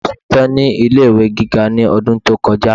ọmọ ṣetan ni ilé ìwé gíga ní ọdún tí o kọjá